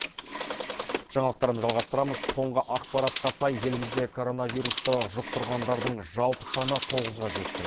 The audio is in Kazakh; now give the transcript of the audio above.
жаңалықтарымызды жалғастырамыз соңғы ақпаратқа сай елімізде коронавирусты жұқтырғандардың жалпы саны тоғызға жетті